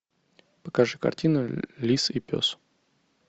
покажи картину лис и пес